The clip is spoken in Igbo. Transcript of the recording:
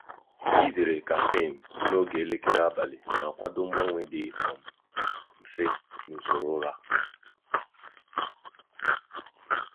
izere kaffin n'oge elekere abalị na-akwado mgbanwe dị um mfe n’usoro ụra.